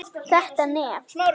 Þetta nef!